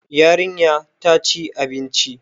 Yarinya ta ci abinci.